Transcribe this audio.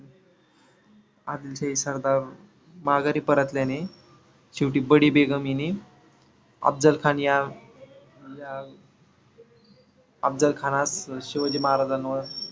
आदिलशाही सरदार माघारी परतल्याने शेवटी बडी बेगम हिने अफजल खान या या अफजल खानास शिवाजी महाराजांवर